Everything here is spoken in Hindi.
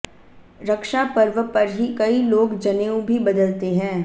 रक्षा पर्व पर ही कई लोग जनेऊ भी बदलते हैं